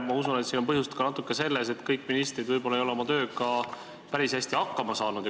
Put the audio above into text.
Ma usun, et põhjus on natukene selles, et kõik ministrid võib-olla ei ole oma tööga päris hästi hakkama saanud.